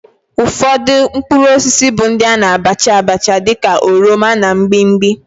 Ufodu mkpuruosisi bu ndi ana abacha abacha di ka oroma na mgbimgbi.